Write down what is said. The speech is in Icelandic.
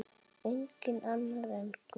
Enginn annar en Guð.